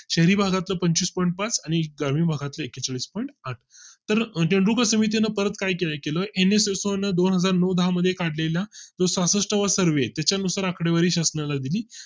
शहरी भागात पंचवीस point पाच आणि ग्रामीण भागातील एक्केचाळीस point आठ तर रेणुका समितीने परत काही केलं NSSO दोन हजार नऊ दहा मध्ये काढले ला तो सहासष्ठ वा सर्वे त्याच्या नुसार आकडेवारी शासना ला दिली